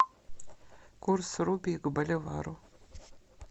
курс рупий к боливару